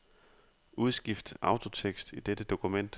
Udskift autotekst i dette dokument.